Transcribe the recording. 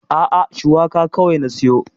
A'a, Shuwaka kawai na siyo.